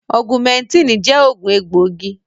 Augumẹntínì jẹ́ òògùn egbòogi.